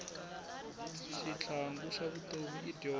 xitlhangu xa vutomi i dyindzo